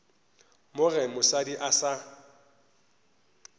mo ge mosadi a sa